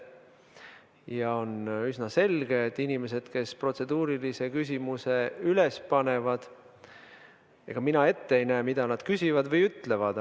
Ja on üsna selge, et inimesed, kes protseduurilise küsimuse üles panevad, ega mina ette ei näe, mida nad küsivad või ütlevad.